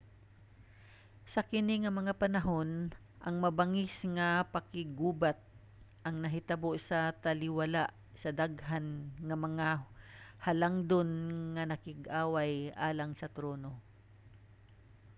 sa kini nga mga panahon ang mabangis nga pakiggubat ang nahitabo sa taliwala sa daghan nga mga halangdon nga nakig-away alang sa trono